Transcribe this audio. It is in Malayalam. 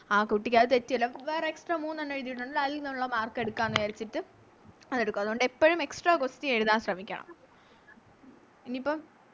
ആ കുട്ടിക്ക് അത് തെറ്റിയല്ലോ അപ്പൊ വേറെ Extra മൂന്നെണ്ണം എഴുതിയല്ലോ അതില്ന്നൊള്ള Mark എടുക്കാം ന്ന് വിചാരിച്ചിട്ട് അതെടുക്കും അതുകൊണ്ട് എപ്പഴും Extra question എഴുതാൻ ശ്രമിക്കണം ഇപ്പം